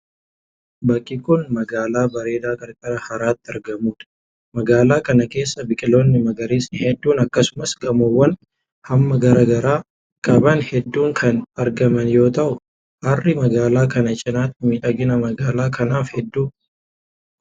Bakki kun, magaalaa bareedaa qarqara haraatti argamuu dha. Magaalaa kana keessa biqiloonni magariisni hedduun akkasumas gamoowwan hamma garaa garaa qaban hedduun kan argaman yoo ta'u, harri magaalaa kana cinaatti miidhagina magaalaa kanaaf hedduu gumaacheera.